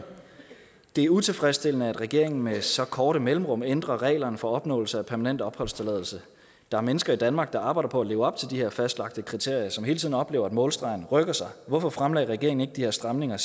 det utilfredsstillende at regeringen med så korte mellemrum ændrer reglerne for opnåelse af permanent opholdstilladelse der er mennesker i danmark der arbejder på at leve op til de her fastlagte kriterier og som hele tiden oplever at målstregen rykker sig hvorfor fremlagde regeringen ikke de her stramninger